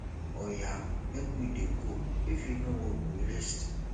oya make we dey go if e no work we rest